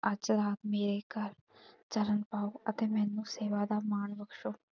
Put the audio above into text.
ਅੱਜ ਰਾਤ ਮੇਰੇ ਘਰ ਚਰਨ ਪਾਓ ਅਤੇ ਮੈਨੂੰ ਸੇਵਾ ਦਾ ਮਾਣ ਬਖਸ਼ੋ।